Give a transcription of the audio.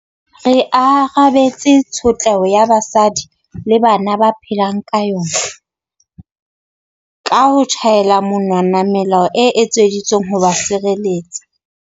Re arabetse tshotleho eo basadi le bana ba phelang ka yona ka ho tjhaela monwana melao e etseditsweng ho ba sireletsa.